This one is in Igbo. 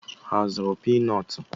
Ha azụrụ pii nọọtụ?